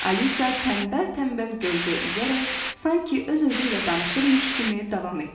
Alisa tənbəl-tənbəl göldə üzərək, sanki öz-özüylə danışırmış kimi davam etdi.